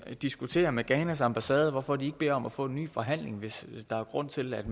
at diskutere med ghanas ambassade hvorfor de ikke beder om at få en ny forhandling hvis der er grund til at